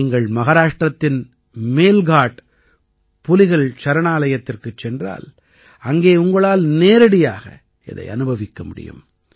நீங்கள் மஹாராஷ்டிரத்தின் மேல்காட் புலிகள் சரணாலயத்திற்குச் சென்றால் அங்கே உங்களால் நேரடியாக இதை அனுபவிக்க முடியும்